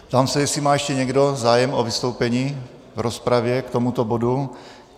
Ptám se, jestli má ještě někdo zájem o vystoupení v rozpravě k tomuto bodu.